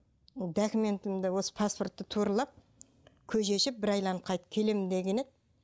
документімді осы паспортты туралап көже ішіп бір айналып қайтып келем деген еді